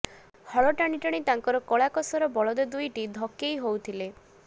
ହଳ ଟାଣିଟାଣି ତାଙ୍କର କଳା କସରା ବଳଦ ଦୁଇଟି ଧକେଇ ହଉଥିଲେ